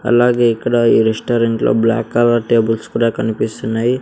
అలాగే ఇక్కడ ఈ రెస్టారెంట్లో బ్లాక్ కలర్ టేబుల్స్ కూడా కనిపిస్తున్నాయి.